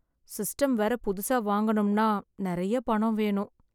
System வேற புதுசா வாங்கணும்னா நெறைய பணம் வேணும்.